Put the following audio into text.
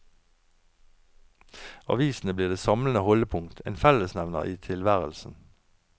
Avisene blir det samlende holdepunkt, en fellesnevner i tilværelsen.